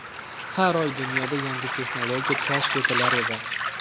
Har oy dunyoda yangi texnologiya kashf etilar edi.